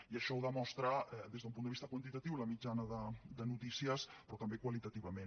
i això ho demostra des d’un punt de vista quantitatiu la mitjana de notícies però també qualitativament